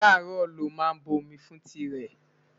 ará ró ló má bo omi fún tii re